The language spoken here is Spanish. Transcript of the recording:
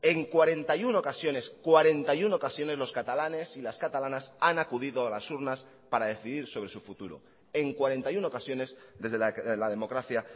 en cuarenta y uno ocasiones cuarenta y uno ocasiones los catalanes y las catalanas han acudido a las urnas para decidir sobre su futuro en cuarenta y uno ocasiones desde la democracia